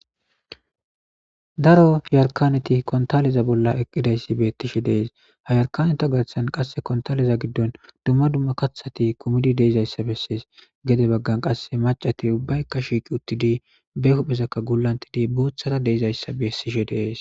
daro yarkaneti kontaleza bolla eqqidayssi beettishe dees ha yarkaneta garthan qasse kontaleza giddon dumma dumma kathati kumidi deizayssa bessees gede baggan qasse macati ubbaykka shiiqi uttidi be huphezakka gulantidi boothara deizayssa beessishe dees